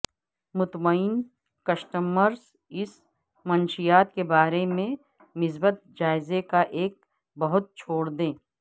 مطمئن کسٹمرز اس منشیات کے بارے میں مثبت جائزے کا ایک بہت چھوڑ دیں